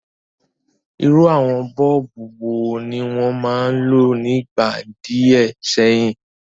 Irú àwon bulb wo ni won ma n lo nígbà díẹ̀ séyìn?